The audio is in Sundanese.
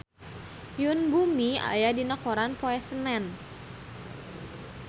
Yoon Bomi aya dina koran poe Senen